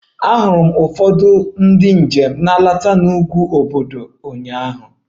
Ahụrụ m ụfọdụ ndị njem nleta n'ugwu obudu ụnyaahụ